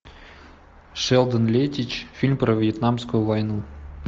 шелдон леттич фильм про вьетнамскую войну